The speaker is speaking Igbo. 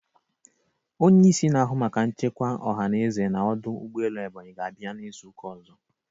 Onyeisi n'ahụ maka nchekwa ohaneze na ọdụ ụgbọelu Ebonyi ga-abia n'izuụka ọzọ.